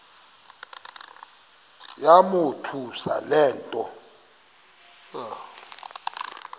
yamothusa le nto